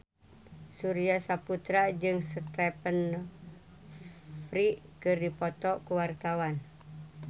Surya Saputra jeung Stephen Fry keur dipoto ku wartawan